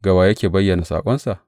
Ga wa yake bayyana saƙonsa?